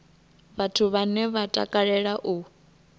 vhathu vhane vha takalela u